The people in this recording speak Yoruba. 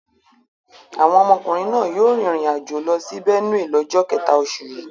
Àwọn ọmọkùnrin náà yóò rìnrìn-àjò lọ sí Benue lọ́jọ́ kẹ̀ta oṣù yìí.